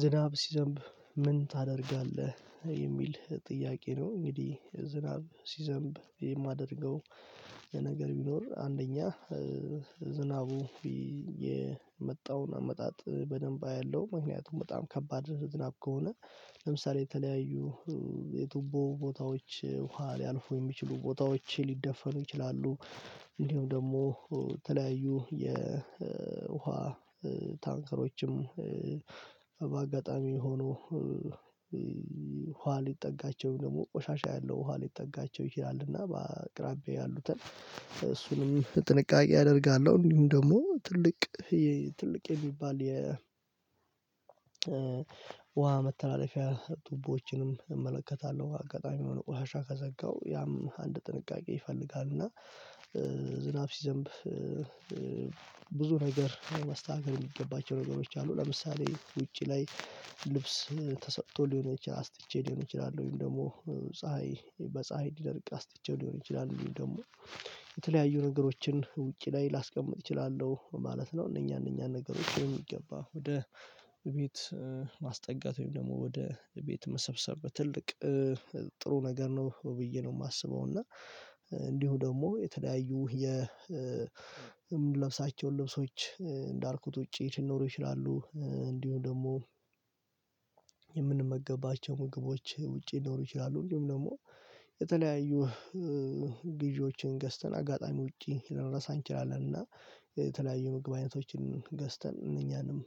ዝናብ ሲዘንብ ምን ታደርጋለህ የሚል ጥያቄ ነው? እንግዲህ ዝናብ ሲዘንብ የማደርገው ነገር ቢኖር አንደኛ ዝናቡ የመጣውን አመጣጥ በደንብ አያለው። ምክንያቱም በጣም ከባድ ዝናብ ከሆነ ለምሳሌ የተለያዩ የቱቦ ቦታዎች ውሃ ሊያልፉ የሚችሉ ቦታዎች ሊደፈኑ ይችላሉ። እንዲሁም ደግሞ ተለያዩ የውሃ ታንከሮችም በአጋጣሚ ሆኖ ውሃ ሊጠጋቸው ደግሞ ቆሻሻ ያለው ውሃ ሊጠጋቸው ይችላልና በአቅራቢያዬ ያሉትን እሱንም ጥንቃቄ አደርጋለሁ። እንዲሁም ደግሞ ትልቅ ትልቅ የሚባል ውሃ መተላለፊያ ቱቦዎችንም እመለከታለሁ አጋጣሚ የሁኖ ውሃ ከዘጋው ያም አንድ ጥንቃቄ ይፈልጋል። እና ዝናብ ሲዘንብ ብዙ ነገር ማስተካከል የሚገባቸው ነገሮች አሉ። ለምሳሌ ውጪ ላይ ልብስ ተሰጥቶ ሊሆን ይችላል አስጥቼ ሊሆን ይችላል ወይም ደግሞ ፀሀይ በፀሀይ ሊደርቅ አስጥቼው ሊሆን ይችላል ወይም ደግሞ የተለያዩ ነገሮችን ውጪ ላይ ላስቀምጥ እችላለሁ ማለት ነው። እነኛ እነኛ ነገሮች በሚገባ ወደ ቤት ማስጠጋት ወይም ደግሞ ወደ ቤት መሰብሰብ ትልቅ ጥሩ ነገር ነው ብዬ ነው የማስበው። እና እንዲሁ ደግሞ የተለያዩ የምንለብሳቸውን ልብሶች እንዳልኩት ውጪ ሊኖሩ ይችላሉ። እንዲሁ ደግሞ የምንመገባቸው ምግቦች ውጪ ሊኖሩ ይችላሉ እንዲሁም ደግሞ የተለያዩ ግዢዎችን ገዝተን አጋጣሚ ውጪ ልንርሳ እንችላለን። እና የተለያዩ ምግብ አይነቶችን ገዝተን እነኛንም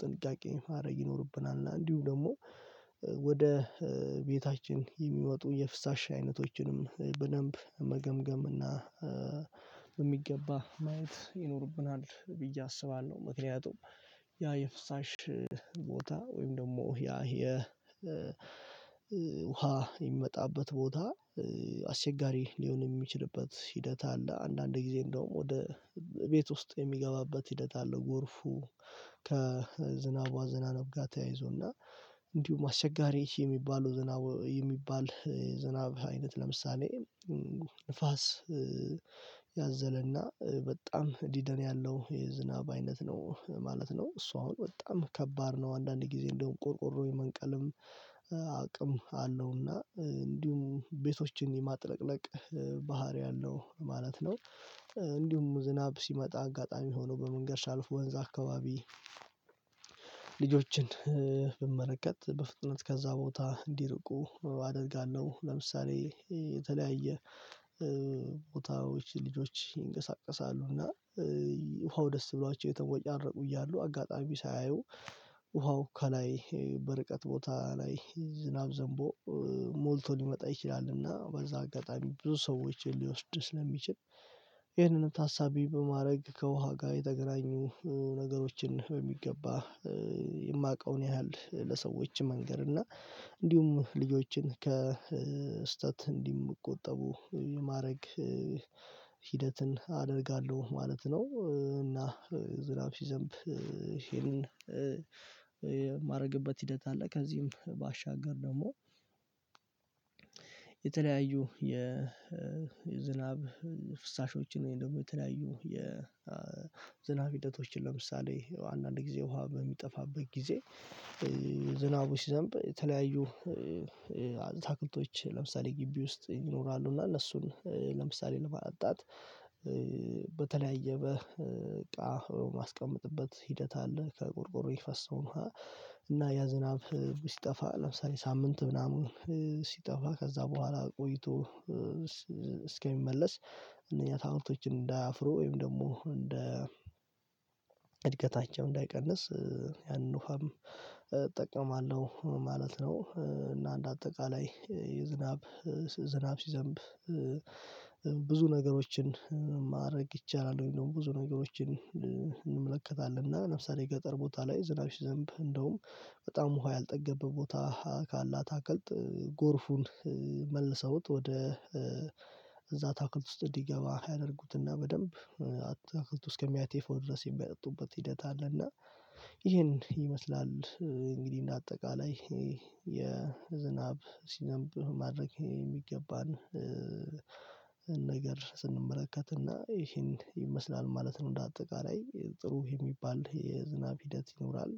ጥንቃቄ ማድረግ ይኖርብናል። እና እንዲሁ ደግሞ ወደ ቤታችን የሚወጡ የፍሳሽ አይነቶችንም በደንብ መገምገም እና በሚገባ ማየት ይኖርብናል ብዬ አስባለሁ። ምክንያቱም ያ የፍሳሽ ቦታ ወይም ደግሞ ያ ውሃ የሚመጣበት ቦታ አስቸጋሪ ሊሆን የሚችልበት ሂደት አለ። አንዳንድ ጊዜ እንደውም ወደ ቤት ውስጥ የሚገባበት ሂደት አለ። ጎርፉ ከዝናብ አዘናነብ ጋር ተያይዞና እንዲሁም አስቸጋሪ የሚባል ዝናብ የሚባል የዝናብ አይነት ለምሳሌ ንፋስ ያዘለና በጣም ዲደን ያለው የዝናብ አይነት ነው ማለት ነው። እሱ አሁን በጣም ከባድ ነው። አንዳንድ ጊዜ እንደውም ቆርቆሮ የመንቀልም አቅም አለው እና እንዲሁም ቤቶችን የማጥለቅለቅ ባህሪ አለው ማለት ነው። እንዲሁም ዝናብ ሲመጣ አጋጣሚ ሆኖ በመንገድ ሳልፍ ወንዝ አካባቢ ልጆችን ብመለከት በፍጥነት ከዛ ቦታ እንዲርቁ አደርጋለሁ። ለምሳሌ የተለያየ ቦታዎች ልጆች ይንቀሳቀሳሉ እና ውሃው ደስ ብሏቸው የተቦጫርቁ እያሉ አጋጣሚ ሳያዩ ውሃው ከላይ በርቀት ቦታ ላይ ዝናብ ዘንቦ ሞልቶ ሊመጣ ይችላልና በዛ አጋጣሚ ብዙ ሰዎችን ሊወስድ ስለሚችል። ይህንንም ታሳቢ በማድረግ ከውሃ ጋር የተገናኙ ነገሮችን በሚገባ የማቀውን ያህል ለሰዎች መንገር እና እንዲሁም ልጆችን ከስህተት እንዲቆጠቡ ማድረግ ሂደትን አደርጋለሁ ማለት ነው። እና ዝናብ ሲዘንብ ይሄንን የማደርግበት ሂደት አለ። ከዚህም ባሻገር ደግሞ የተለያዩ የዝናብ ፍሳሾችን ወይም ደግሞ የተለያዩ የዝናብ ሂደቶችን ለምሳሌ አንዳንድ ጊዜ ውሃ በሚጠፋበት ጊዜ ዝናቡ ሲዘንብ የተለያዩ ታክልቶች ለምሳሌ ግቢ ውስጥ ይኖራሉ እና እነሱን ለምሳሌ ለማጠጣት በተለያየ በቃ ማስቀመጥበት ሂደት አለ። ከቆርቆሮ የሚፈሰውን እና ያ ዝናብ ሲጠፋ ለምሳሌ ሳምንት ምናምን ሲጠፋ ከዛ በኋላ ቆይቶ እስከሚመለስ እነዚህ ታምርቶችን እንዳያፍሩ ወይም ደግሞ እንደ እድገታችው እንዳይቀንስ ያንን ውሀም እጠቀማለሁ ማለት ነው። እና እንደ አጠቃላይ የዝናብ ዝናብ ሲዘንብ ብዙ ነገሮችን ማድረግ ይቻላል። ወይም ብዙ ነገሮችን እንመለከታለን እና ለምሳሌ ገጠር ቦታ ላይ ዝናብ ሲዘንብ እንደውም በጣም ውሃ ያልጠገበ ቦታ ካለ አታክልት ጎርፉን መልሰውት ወደ እዛ አታክልት ውስጥ እንዲገባ ያደርጉትና በደንብ አትክልት ውስጥ ከሚያቴፈው ድረስ የሚያጠጡበት ሂደት አለና ይሄን ይመስላል። እንግዲህ እንደ አጠቃላይ የዝናብ ሲነብ ማድረግ የሚገባን ነገር ስንመለከትና ይሄን ይመስላል ማለት ነው። እንደ አጠቃላይ ጥሩ የሚባል የዝናብ ሂደት ይኖራል።